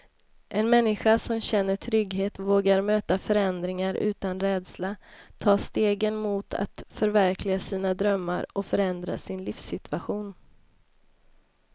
En människa som känner trygghet vågar möta förändringar utan rädsla, ta stegen mot att förverkliga sina drömmar och förändra sin livssituation.